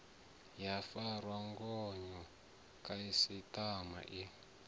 ya farwa ngayo khasiṱama i